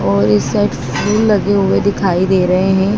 और इस लगे हुए दिखाई दे रहे हैं।